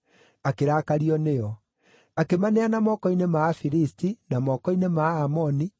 akĩrakario nĩo. Akĩmaneana moko-inĩ ma Afilisti na moko-inĩ ma Aamoni,